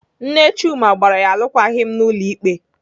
Nne Chuma gbara ya alụkwaghịm n'ụlọ ikpe.